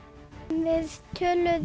við töluðum